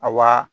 A wa